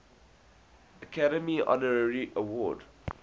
academy honorary award